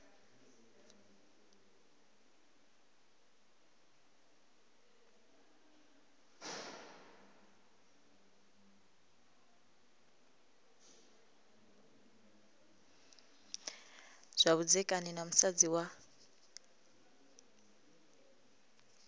zwa vhudzekani na musadzi wa